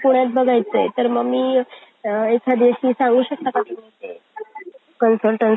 इंग्रजांच्या राजवटीत हा वाडा जीर्ण झाल्याने त्याची मूळ रचना हरवली आहे. जगदीश्वराचे मंदिर, जगदीश्वराचे मंदिर शिवाजी महाराजांनी बांधले आहे. हे मंदिर हिंदू मंदिर आहे.